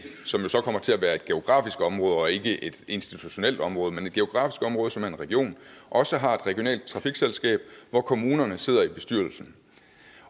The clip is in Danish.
som jo så kommer til at være et geografisk område og ikke et institutionelt område men altså et geografisk område som er en region også har et regionalt trafikselskab hvor kommunerne sidder i bestyrelsen